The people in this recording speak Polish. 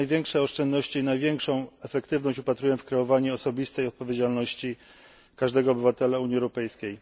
Jednak największe oszczędności i największą efektywność wypatruję w kreowaniu osobistej odpowiedzialności każdego obywatela Unii Europejskiej.